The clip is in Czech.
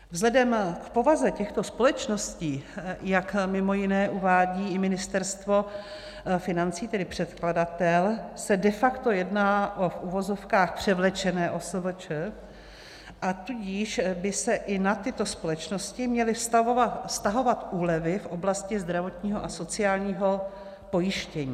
Vzhledem k povaze těchto společností, jak mimo jiné uvádí i Ministerstvo financí, tedy předkladatel, se de facto jedná o v uvozovkách převlečené OSVČ, a tudíž by se i na tyto společnosti měly vztahovat úlevy v oblasti zdravotního a sociálního pojištění.